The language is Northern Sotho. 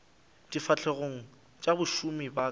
difahlegong tša bašomi ba ka